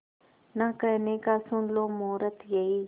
ना कहने का सुन लो मुहूर्त यही